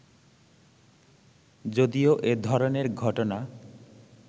যদিও এ ধরনের ঘটনা